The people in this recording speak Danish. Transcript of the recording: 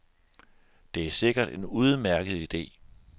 Det er sikkert en udmærket ide.